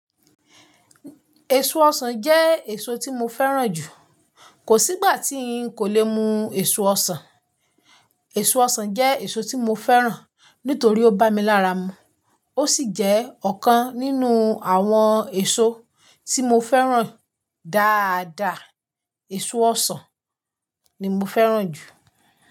Èso ọsàn jẹ́ èso tí mo fẹ́ràn jù. Kò sí ìgbà tí n kò lè mu èso ọsàn. Èso ọsàn jẹ́ èso tí mo fẹ́ràn nítorí ó bá mi lára mu. Ó sì jẹ́ ọ̀kan nínú àwọn èso tí mo fẹ́ràn dáadaa. Èso ọsàn ni mo fẹ́ràn jù.